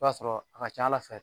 I b'a sɔrɔ a ka ca ala fɛ